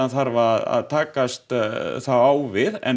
þarf að takast þá á við en